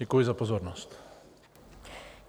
Děkuji za pozornost.